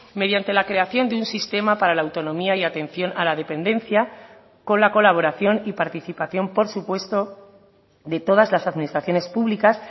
mediante la creación de un sistema para la autonomía y atención a la dependencia con la colaboración y participación por supuesto de todas las administraciones públicas